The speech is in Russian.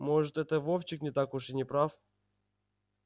может это вовчик не так уж и не прав